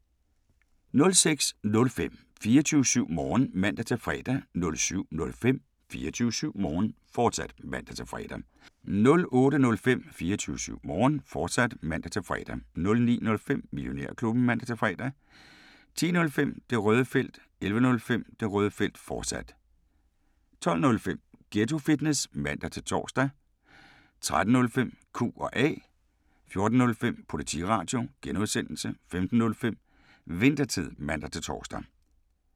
06:05: 24syv Morgen (man-fre) 07:05: 24syv Morgen, fortsat (man-fre) 08:05: 24syv Morgen, fortsat (man-fre) 09:05: Millionærklubben (man-fre) 10:05: Det Røde Felt 11:05: Det Røde Felt, fortsat 12:05: Ghetto Fitness (man-tor) 13:05: Q&A 14:05: Politiradio (G) 15:05: Winthertid (man-tor)